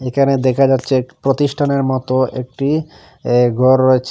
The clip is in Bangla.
এখানে দেখা যাচ্ছে প্রতিষ্ঠানের মত একটি এ ঘর রয়েছে।